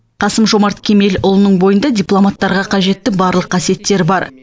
қасым жомарт кемелұлының бойында дипломаттарға қажетті барлық қасиеттер бар